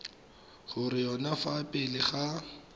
go yone fa pele ga